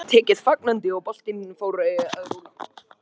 Hugmyndinni var tekið fagnandi og boltinn fór að rúlla.